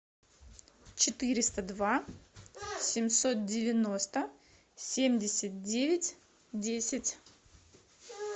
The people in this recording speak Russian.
четыреста два семьсот девяносто семьдесят девять десять